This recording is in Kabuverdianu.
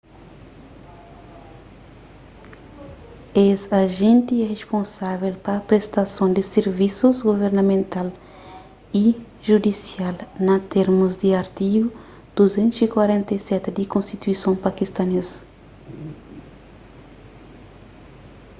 es ajenti é risponsável pa prestason di sirvisus guvernamental y judisial na térmus di artigu 247 di konstituison pakistanês